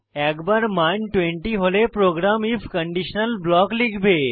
একবার মান 20 হলে প্রোগ্রাম আইএফ কন্ডিশনাল ব্লক লিখবে